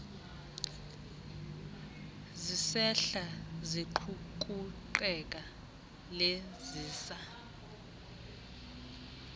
zisehla ziqukuqela lezisa